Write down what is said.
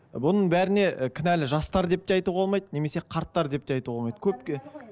бұның бәріне і кінәлі жастар деп те айтуға болмайды немесе қарттар деп те айтуға болмайды көпке